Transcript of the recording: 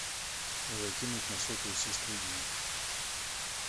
закинуть на сотовый сестры денег